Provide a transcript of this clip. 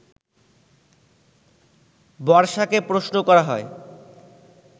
বর্ষাকে প্রশ্ন করা হয়